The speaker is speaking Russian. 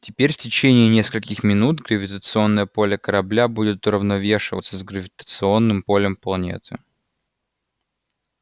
теперь в течение нескольких минут гравитационное поле корабля будет уравновешиваться с гравитационным полем планеты